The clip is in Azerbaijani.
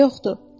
Niyə yoxdur?